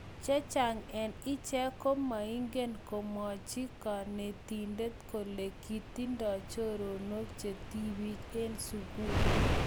chechang eng ichek komaigeny komwach kanetindet kole kitindoi choronok che tibik eng sugul